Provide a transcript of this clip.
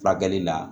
Furakɛli la